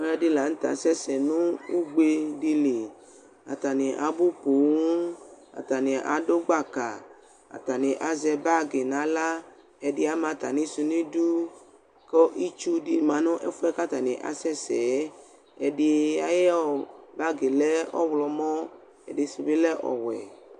Alʋ ɛdɩ la nʋ tɛ asɛ sɛ nʋ ugbe dɩ li Ata nɩ abʋ poo, ata nɩ adʋ gbaka, ata nɩ azɛ bagɩ nʋ aɣla Ɛdɩ ama atamɩsʋ nʋ idu, kʋ itsu dɩ ma nʋ ɛfʋɛ ata nɩ asɛ sɛ yɛ Ɛdɩ ayʋ bagɩ lɛ ɔɣlɔmɔ, ɛdɩ sʋ bɩ lɛ ɔwɛ